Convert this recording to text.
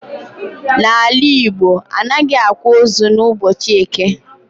N'ala Igbo anaghị akwa ozu n'ụbọchị eke